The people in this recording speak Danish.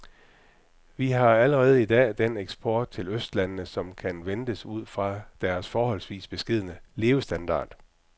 Vi har allerede i dag den eksport til østlandene, som kan ventes ud fra deres forholdsvis beskedne levestandard.